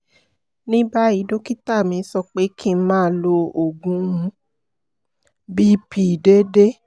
ní báyìí dókítà mi sọ pé kí n máa lo oògùn bp déédéé